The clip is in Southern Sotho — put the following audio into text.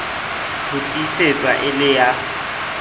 ho tiisetswa e le ya